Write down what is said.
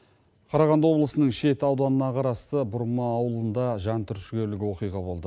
қарағанды облысының шет ауданына қарасты бұрма ауылында жан түршігерлік оқиға болды